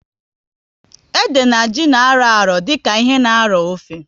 Ede na ji na arụ ọrụ dịka ihe na arọ ofe